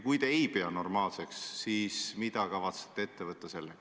Kui te ei pea normaalseks, siis mida te kavatsete sellega ette võtta?